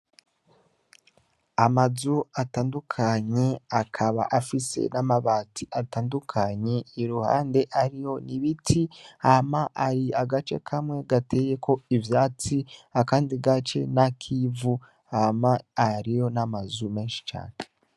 Amazu atandukanye ,akaba afise n'amabati atandukanye, iruhande hariho ibiti hama hari agace kamwe gateyeko ivyatsi ,akandi gace n'akivu hama hariho n'amazu menshi cane.